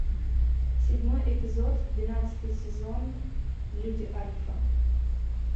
седьмой эпизод двенадцатый сезон люди альфа